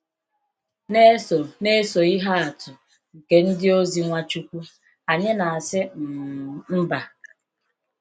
Na-eso Na-eso ihe atụ nke ndịozi Nwachukwu, anyị na asi um mba.